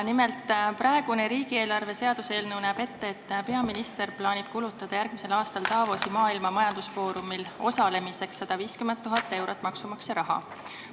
Nimelt, praegune riigieelarve seaduse eelnõu näeb ette, et peaminister plaanib kulutada järgmisel aastal Davosi Maailma Majandusfoorumi kohtumisel osalemiseks 150 000 eurot maksumaksja raha.